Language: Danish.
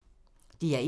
DR1